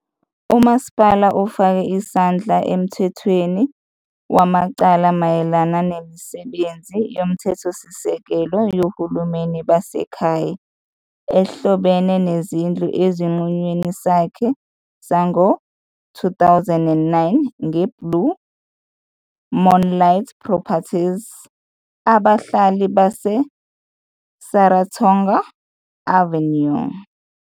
UMasipala ufake isandla emthethweni wamacala mayelana nemisebenzi yomthethosisekelo yohulumeni basekhaya ehlobene nezindlu esinqumweni sakhe sango-2009 "ngeBlue Moonlight Properties v Abahlali baseSaratoga Avenue"